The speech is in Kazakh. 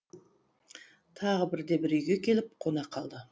тағы бірде бір үйге келіп қона қалды